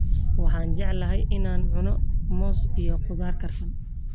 Waxaan jeclahay in aan cuno muus iyo khudaar karsan.